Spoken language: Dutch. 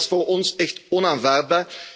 Nee, dat is voor ons echt onaanvaardbaar.